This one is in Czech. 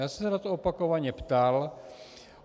Já jsem se na to opakovaně ptal.